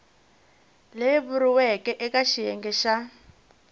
leyi vuriweke eka xiyenge xa